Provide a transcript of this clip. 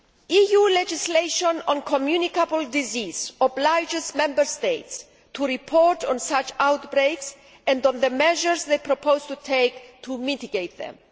EU legislation on communicable disease obliges Member States to report on such outbreaks and on the measures they propose to take to mitigate them.